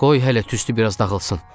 Qoy hələ tüstü biraz dağılsın.